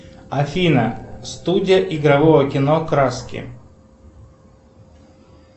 афина студия игрового кино краски